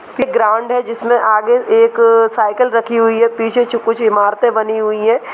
एक ग्राउंड है जिसमें आगे एक साइकिल रखी हुई है पीछे च कुछ इमारते बनी हुई है।